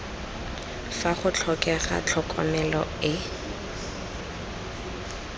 fa go tlhokega tlhokomelo e